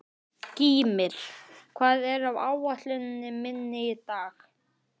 Gýmir, hvað er á áætluninni minni í dag?